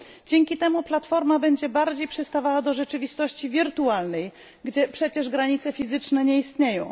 Dzięki temu platforma będzie bardziej przystawała do rzeczywistości wirtualnej, gdzie przecież granice fizyczne nie istnieją.